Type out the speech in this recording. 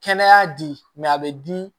Kɛnɛya di a bɛ di